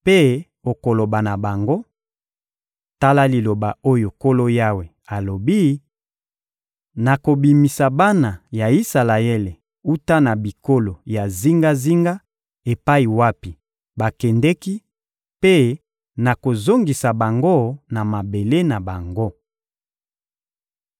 mpe okoloba na bango: ‹Tala liloba oyo Nkolo Yawe alobi: Nakobimisa bana ya Isalaele wuta na bikolo ya zingazinga epai wapi bakendeki mpe nakozongisa bango na mabele na bango.